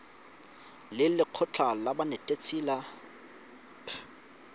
le lekgotlha la banetetshi ba